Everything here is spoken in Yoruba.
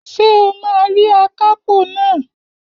Ṣé o máa rí akápò naa?